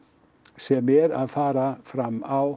sem er að fara fram á